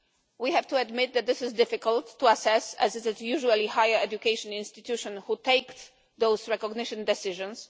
We have to admit that this is difficult to assess, as it is usually higher education institutions which take those recognition decisions.